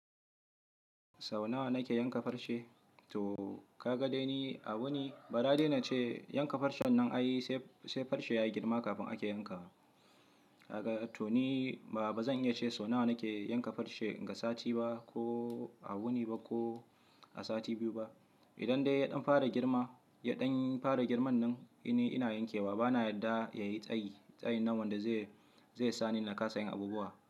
Sau nawa na ke yanka farce? To ka ga dai ni a wuni, bara dai na ce yanka farcen nan ayisai farce ya yi girma kafin ake yanka wa. To ni ba zan iya ce sau nawa na ke yanka farce, ga sati ba ko a wuni ba ko a sati biyu ba. Idan dai yaɗon fara girma, yaɗon fara girman nan ni ina yankewa bana yadda ya yi tsayi, tsayin nan wanda zai sani na kasa yin abubuwa.